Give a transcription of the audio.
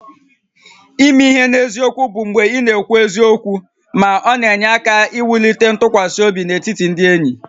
Ime ihe n'eziokwu bụ mgbe ị na-ekwu eziokwu ma ọ na-enye aka wulite ntụkwasị obi n'etiti ndị enyi